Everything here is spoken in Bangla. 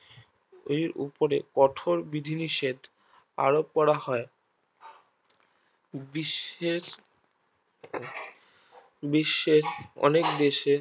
ওই উপরে কঠোর বিধিনিষেধ আরোপ করা হয় বিশ্বের বিশ্বের অনেক দেশের